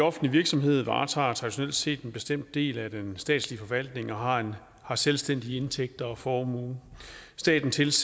offentlig virksomhed varetager traditionelt set en bestemt del af den statslige forvaltning og har har selvstændige indtægter og formue staten tilser